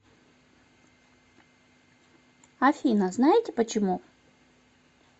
афина знаете почему